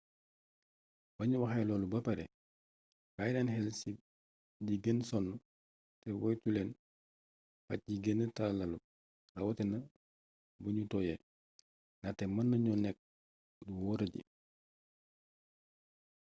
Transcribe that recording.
bañu waxee loolu ba pare bàyyi leen xel ci di ngeen sonn te woytuleen pàcc yi gëna tàllalu rawatina bu nu tooyee ndaxte mën nañoo nekk lu wóoradi